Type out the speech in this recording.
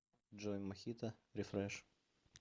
джой мохито рефреш